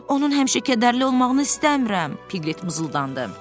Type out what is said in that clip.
Onun həmişə kədərli olmağını istəmirəm, Piglet mızıldandı.